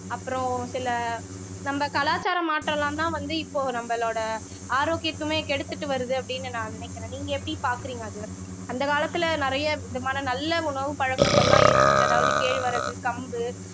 அப்புறம் சில நம்ம கலாச்சாரம் மாற்றம் எல்லாம்தான் வந்து இப்போ நம்மளோட ஆரோக்கியத்தையுமே கெடுத்துட்டு வருது அப்படின்னு நான் நினைக்கிறேன் நீங்க எப்படி பார்க்கிறீங்க அது அந்த காலத்துல நிறைய விதமான நல்ல உணவு பழக்கங்கள்லாம் இருந்துச்சு அதாவது கேழ்வரகு கம்பு